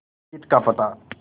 जीत का पता